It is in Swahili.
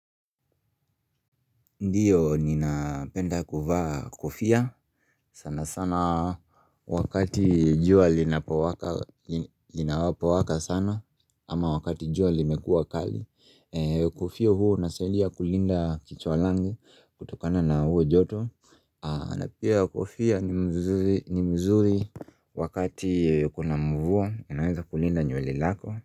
Ndio ninapenda kuvaa kofia sana sana wakati jua linapowaka sana ama wakati jua limekua kali. Kofia huwa unasaidia kulinda kichwa langu kutokana na huo joto na pia kofia ni mzuri wakati kuna mvua inaweza kulinda nywele lako.